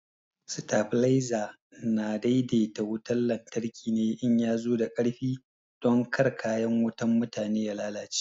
Stabalaiza na daidaita wutan lantarki ne in ya zo da ƙarfi don kar kayan wutan mutane ya lalace.